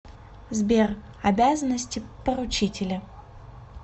сбер обязанности поручителя